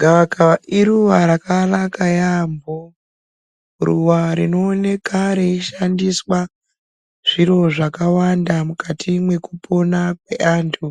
Gavakava iruwa rakanaka yaamho, ruwa rinooneka reishandiswa zviro zvakawanda mukati mwekupona kweantu